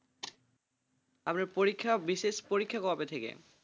আপনার পরীক্ষা বিশেষ পরীক্ষা কবে থেকে,